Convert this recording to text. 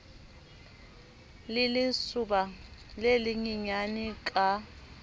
le lesoba le lenyenyane ka